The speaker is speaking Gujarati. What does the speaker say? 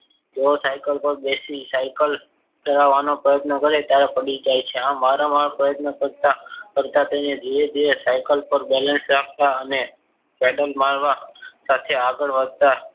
cycle પર બેસી cycle ચલાવવાનો પ્રયત્ન કરે ત્યારે પડી જાય છે. આમ વારંવાર પ્રયત્ન કરતા અથવા તેને ધીરે ધીરે cycle પર balance રાખવા અને paddle મારવા. સાથે આગળ વધતા